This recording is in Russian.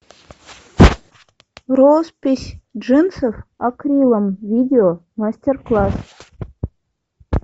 роспись джинсов акрилом видео мастер класс